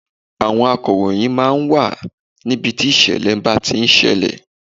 Àwọn akọ̀ròyìn máa ń wà ní ibi tí ìṣẹ̀lẹ̀ ń bá ti ń ṣẹlẹ̀.